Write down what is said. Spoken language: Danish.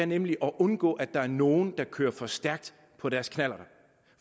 nemlig at undgå at der er nogle der kører for stærkt på deres knallerter